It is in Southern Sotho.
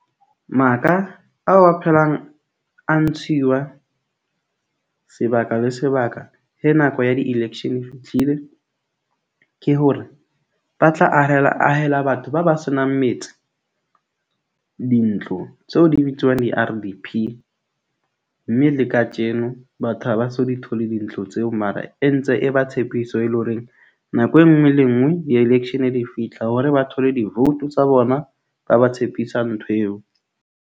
Maka ao a phelang a ntshiwa sebaka le sebaka he nako ya di-election e fihlile. Ke hore ba tla ahela ahela batho ba ba senang metse dintlo tseo di bitswang di-R_D_P. Mme le katjeno batho ha ba so di thole dintlo tseo. Mara e ntse e ba tshepiso e leng horeng nako e nngwe le e nngwe di-election ha di fihla hore ba thole di-vote tsa bona, ba ba tshepisa ntho eo.